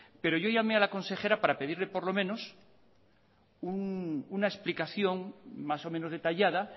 pero yo llamé a la consejera para pedirle por lo menos una explicación más o menos detallada